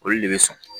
Olu de bɛ sɔn